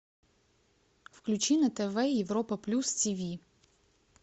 включи на тв европа плюс тв